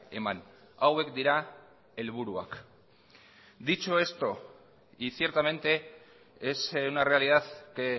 eman hauek dira helburuak dicho esto y ciertamente es una realidad que